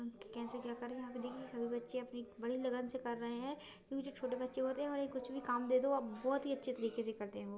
कैसे क्या करे यहा पे देखिये सभी बच्चे अपने बड़ी लगन से कर रहे है देखो जो छोटे बच्चे होते हैं और ये कुछ भी काम दे दो आप बहुत ही अच्छे तरीके से करते है वो।